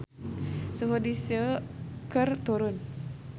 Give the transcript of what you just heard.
Suhu di Seoul keur turun